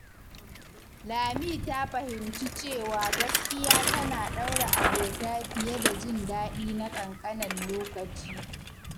Lami ta fahimci cewa gaskiya tana ɗaure abota fiye da jin daɗi na ƙanƙanen lokaci.